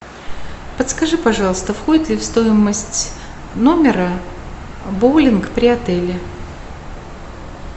подскажи пожалуйста входит ли в стоимость номера боулинг при отеле